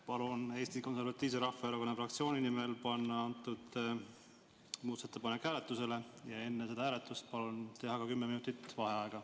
Palun Eesti Konservatiivse Rahvaerakonna fraktsiooni nimel panna antud muudatusettepanek hääletusele ja enne hääletust palun teha kümme minutit vaheaega.